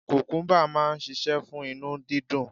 Kukumuba máa ń ṣíṣe fún inú dídùn.